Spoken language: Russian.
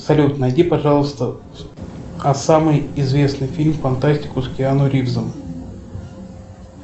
салют найди пожалуйста самый известный фильм фантастику с киану ривзом